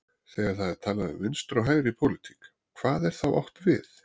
Þegar það er talað um vinstri og hægri í pólitík, hvað er þá átt við?